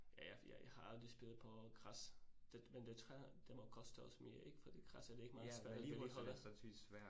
Ja ja for jeg jeg har aldrig spillet på græs, det men jeg det tror jeg, det må koste også mere ik fordi græs, er det ikke meget svært at vedligeholde?